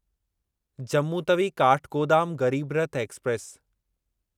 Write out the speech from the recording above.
Jammu Tawi Kathgodam Garib Rath express